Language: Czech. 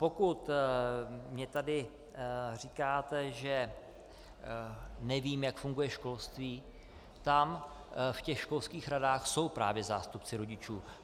Pokud mně tady říkáte, že nevím, jak funguje školství, tam v těch školských radách jsou právě zástupci rodičů.